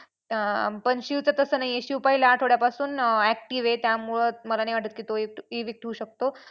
अं पण शिवचं तसं नाही आहे. शिव पहिल्या आठवड्यापासून active आहे त्यामुळं मला नाही वाटत की तो होऊ शकतो.